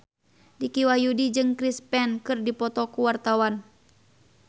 Dicky Wahyudi jeung Chris Pane keur dipoto ku wartawan